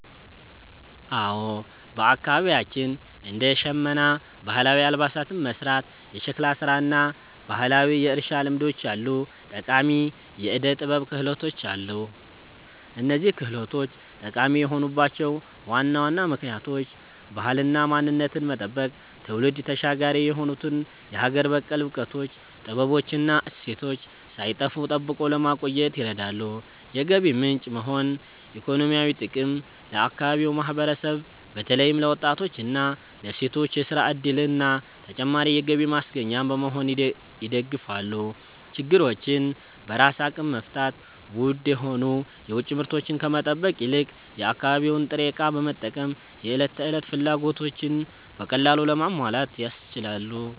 አዎ፣ በአካባቢያችን እንደ ሸመና (ባህላዊ አልባሳትን መሥራት)፣ የሸክላ ሥራ እና ባህላዊ የእርሻ ልምዶች ያሉ ጠቃሚ የዕደ-ጥበብ ክህሎቶች አሉ። እነዚህ ክህሎቶች ጠቃሚ የሆኑባቸው ዋና ዋና ምክንያቶች፦ ባህልንና ማንነትን መጠበቅ፦ ትውልድ ተሻጋሪ የሆኑትን የሀገር በቀል እውቀቶች፣ ጥበቦች እና እሴቶች ሳይጠፉ ጠብቆ ለማቆየት ይረዳሉ። የገቢ ምንጭ መሆን (ኢኮኖሚያዊ ጥቅም)፦ ለአካባቢው ማህበረሰብ በተለይም ለወጣቶችና ለሴቶች የሥራ ዕድልና ተጨማሪ የገቢ ማስገኛ በመሆን ይደግፋሉ። ችግሮችን በራስ አቅም መፍታት፦ ውድ የሆኑ የውጭ ምርቶችን ከመጠበቅ ይልቅ የአካባቢውን ጥሬ ዕቃ በመጠቀም የዕለት ተዕለት ፍላጎቶችን በቀላሉ ለማሟላት ያስችላሉ።